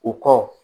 O kɔ